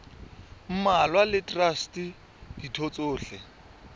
mmalwa le traste ditho tsohle